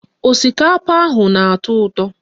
Osikapa ahụ na-atọ ụtọ